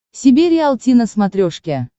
себе риалти на смотрешке